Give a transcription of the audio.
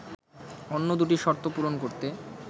অন্য দুটি শর্ত পূরণ করতে